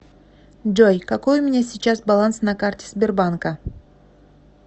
джой какой у меня сейчас баланс на карте сбербанка